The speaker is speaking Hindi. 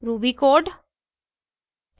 ruby code